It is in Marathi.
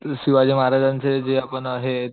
शिवाजी महाराजांचे जे आपण हे